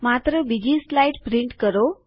માત્ર બીજી સ્લાઇડ છાપો